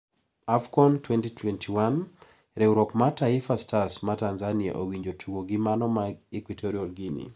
Afcon 2021: Riwruok mar Taifa stars ma Tanzania owinjo otug gi mano ma Equitorial Guinea.